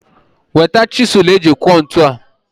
Weta chisụl eji kụọ ntu a!